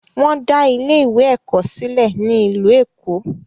Wọn dá ilé ìwé ẹ̀kọ́ sílẹ̀ ní ìlú Èkó.